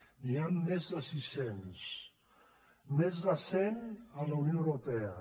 n’hi han més de sis cents més de cent a la unió europea